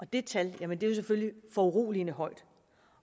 det tal er jo selvfølgelig foruroligende højt